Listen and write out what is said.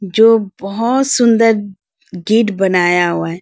जो बहोत सुंदर गेट बनाया हुआ है।